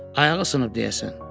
Ayağı sınıb deyəsən.